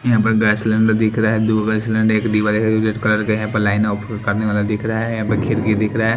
यहां पर gas cylinder दिख रहा है दो गैस सिलेंडर एक वाला रेड कलर के यहां पर लाइन अप करने वाला दिख रहा है यहां पर खिरकी दिख रहा--